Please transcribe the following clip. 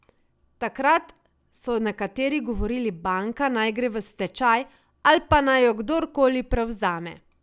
Takrat so nekateri govorili banka naj gre v stečaj, al pa naj jo kdorkoli prevzame.